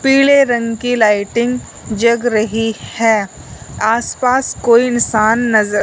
पीले रंग की लाइटिंग जग रही है आसपास कोई इंसान नजर--